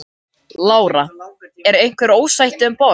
Lára: Er einhver ósætti um borð?